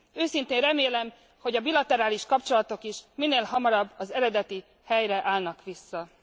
Őszintén remélem, hogy a bilaterális kapcsolatok is minél hamarabb az eredeti helyre állnak vissza.